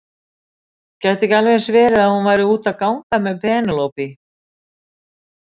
Gæti ekki alveg eins verið að hún væri úti að ganga með Penélope?